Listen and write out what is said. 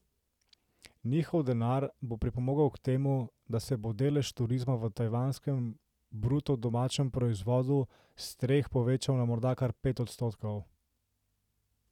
Njihov denar bo pripomogel k temu, da se bo delež turizma v tajvanskem bruto domačem proizvodu s treh povečal na morda kar pet odstotkov.